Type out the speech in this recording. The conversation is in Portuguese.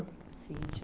Cíntia.